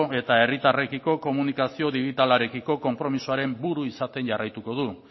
eta herritarrekiko komunikazio digitalarekiko konpromisoaren buru izaten jarraituko du